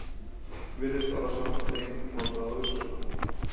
Virðist orðasambandið einkum notað á Austurlandi.